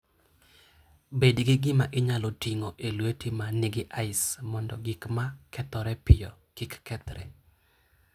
Bed gi gima inyalo ting'o e lweti ma nigi ice mondo gik ma kethore piyo kik kethre.